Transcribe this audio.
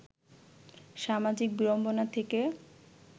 সামাজিক বিড়ম্বনা থেকে